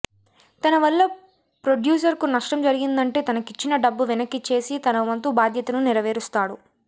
తన వల్ల ప్రొడ్యూసర్కు నష్టం జరిగిందంటే తనకిచ్చిన డబ్బు వెనకిచ్చేసి తనవంతు బాధ్యతను నెరవేరుస్తాడు